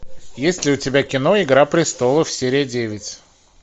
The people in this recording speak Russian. есть ли у тебя кино игра престолов серия девять